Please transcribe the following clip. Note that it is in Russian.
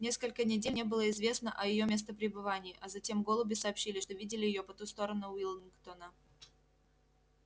несколько недель не было известно о её местопребывании а затем голуби сообщили что видели её по ту сторону уиллингдона